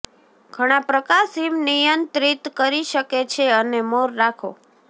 ઘણા પ્રકાશ હિમ નિયંત્રિત કરી શકે છે અને મોર રાખો